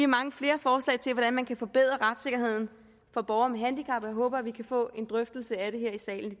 mange flere forslag til hvordan man kan forbedre retssikkerheden for borgere med handicap og jeg håber vi kan få en drøftelse af det her i salen i